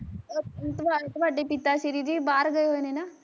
ਆ ਉ ਤੁਹਾ ਤੁਹਾਡੇ ਪਿਤਾ ਸ਼੍ਰੀ ਜੀ ਬਾਹਰ ਗਏ ਹੋਏ ਨੇ ਨਾ